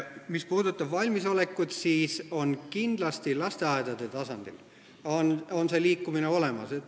Mis puudutab valmisolekut, siis kindlasti lasteaedade tasandil on see liikumine olemas.